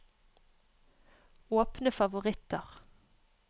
åpne favoritter